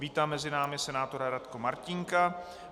Vítám mezi námi senátora Radko Martínka.